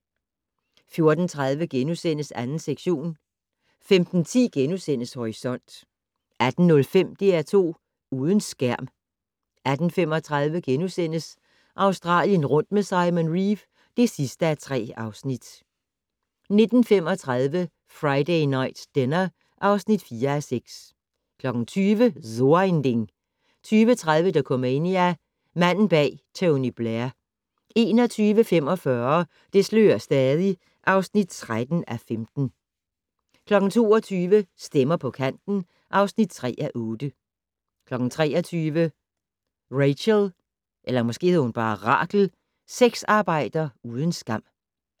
14:30: 2. sektion * 15:10: Horisont * 18:05: DR2 Uden skærm 18:35: Australien rundt med Simon Reeve (3:3)* 19:35: Friday Night Dinner (4:6) 20:00: So ein Ding 20:30: Dokumania: Manden bag Tony Blair 21:45: Det slører stadig (13:15) 22:00: Stemmer på kanten (3:8) 23:00: Rachel - sexarbejder uden skam